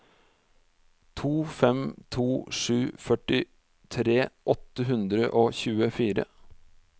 to fem to sju førtitre åtte hundre og tjuefire